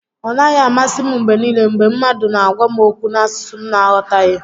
Ọ naghị amasị m mgbe niile mgbe mmadụ n'agwa m okwu n'asụsụ m na aghọtaghị